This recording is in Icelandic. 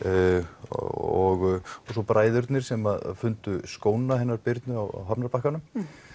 og svo bræðurnir sem fundu skóna hennar Birnu á hafnarbakkanum